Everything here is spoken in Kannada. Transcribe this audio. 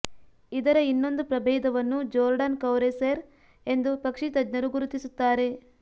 ಇದರ ಇನ್ನೊಂದು ಪ್ರಭೇದವನ್ನು ಜೋರ್ಡಾನ್ ಕೌರಸೆರ್ ಎಂದು ಪಕ್ಷಿ ತಜ್ಞರು ಗುರುತಿಸುತ್ತಾರೆ